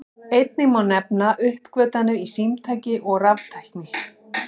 Einnig má nefna uppgötvanir í símtækni og raftækni.